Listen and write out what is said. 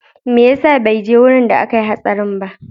Meyasa beje wajan da akayi hatsarin ba?